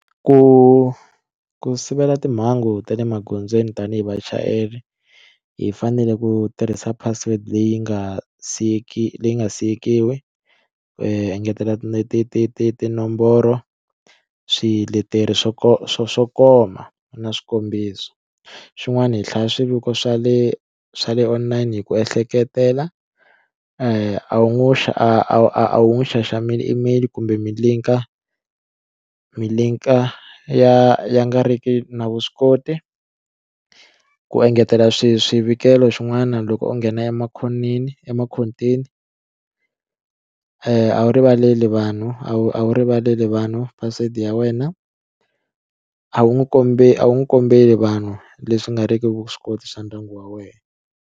Ku ku sivela timhangu ta le magondzweni tanihi vachayeri hi fanele ku tirhisa password leyi nga siyeki leyi nga siyekiwi engetela ti ti ti ti tinomboro swiletelo swo swo swo koma na swikombiso xin'wana hi hlaya swiviko swa le swa le online hi ku ehleketela wu xa a wu n'wi xaxameli email kumbe mi linker mi linker ya ya nga ri ki na vuswikoti ku engetela swi swivikelo xin'wana loko o nghena emakhoneni emakhoteni a wu rivaleli vanhu a wu a wu rivaleli vanhu password ya wena a wu n'wi a wu n'wi kombeli vanhu leswi nga ri ki vuswikoti swa ndyangu wa wena.